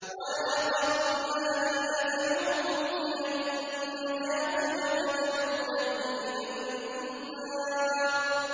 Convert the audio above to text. ۞ وَيَا قَوْمِ مَا لِي أَدْعُوكُمْ إِلَى النَّجَاةِ وَتَدْعُونَنِي إِلَى النَّارِ